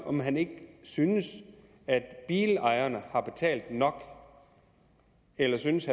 om han ikke synes at bilejerne har betalt nok eller synes